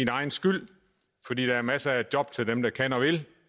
egen skyld fordi der er masser af job til dem der kan og vil